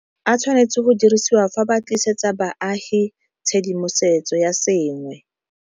A tshwanetseng go dirisiwa fa ba tlisetsa baagi tshedimosetso ya sengwe.